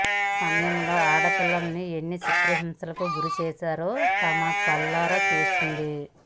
ఆ సమయంలో ఆడపిల్లల్ని ఎన్ని చిత్రహింసలకి గురి చేస్తారో తను కళ్లారా చూసింది